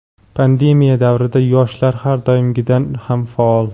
Pandemiya davrida yoshlar har doimgidan ham faol!.